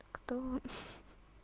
кто